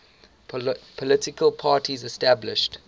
political parties established